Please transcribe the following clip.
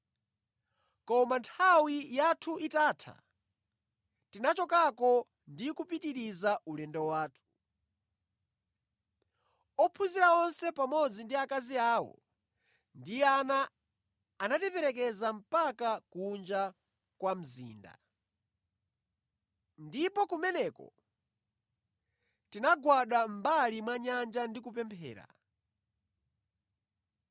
Koma nthawi yathu itatha, tinachokako ndi kupitiriza ulendo wathu. Ophunzira onse pamodzi ndi akazi awo ndi ana anatiperekeza mpaka kunja kwa mzinda. Ndipo kumeneko tinagwada mʼmbali mwa nyanja ndi kupemphera.